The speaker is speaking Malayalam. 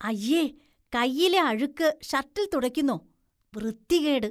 അയ്യേ. കൈയിലെ അഴുക്ക് ഷര്‍ട്ടില്‍ തുടയ്ക്കുന്നോ, വൃത്തികേട്.